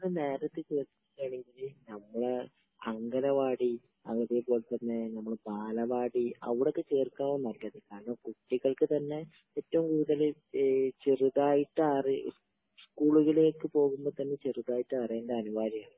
നേരത്തേ ചേർക്കുകയാണെങ്കില് നമ്മട അങ്കണവാടി, അതേപോലെ തന്നെ നമ്മടെ ബാലവാടി അവിടൊക്കെ ചേർക്കാവും നല്ലത്.കാരണം കുട്ടികൾക്ക് തന്നെ ഏറ്റവും കൂടുതല് ചെറുതായിട്ട് അറി...സ്കൂളുകളിലേക്ക് പോകുമ്പോ ചെറുതായിട്ട് അറിയേണ്ടത് അനിവാര്യമാണ്.